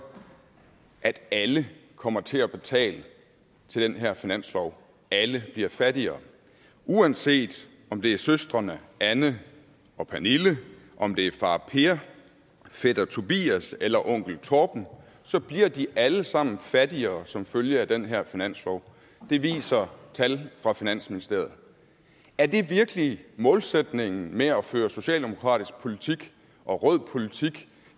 at alle kommer til at betale til den her finanslov alle bliver fattigere uanset om det er søstrene anne og pernille om det er far per fætter tobias eller onkel torben så bliver de alle sammen fattigere som følge af den her finanslov det viser tallene fra finansministeriet er det virkelig målsætningen med at føre socialdemokratisk politik og rød politik